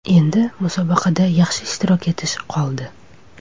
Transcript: Endi musobaqada yaxshi ishtirok etish qoldi.